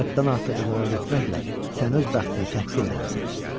Həddən artıq uzağa getməklə sən öz bəxtini təhqir eləmisən.